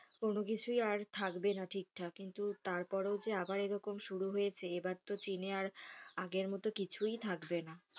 কোনো কিছুই আর থাকবে না ঠিকঠাক কিন্তু তারপরেও যে আবার এরকম শুরু হয়েছে এবার তো চীনে আর আগের মতো কিছুই থাকবে না।